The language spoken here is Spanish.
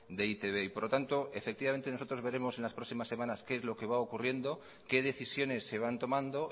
de e i te be y por lo tanto nosotros veremos en las próximas semanas qué es lo que va ocurriendo qué decisiones se van tomando